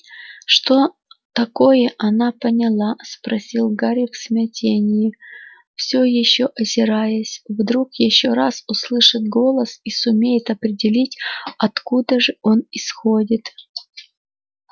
что такое она поняла спросил гарри в смятении все ещё озираясь вдруг ещё раз услышит голос и сумеет определить откуда же он исходит